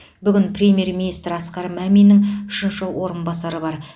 бүгін премьер министр асқар маминнің үшінші орынбасары бар